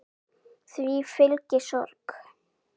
Því fylgi sorg.